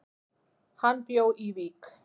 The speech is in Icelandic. Hann bjó í Vík.